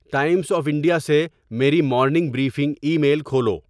Times of India سے میری morning briefing email کھولو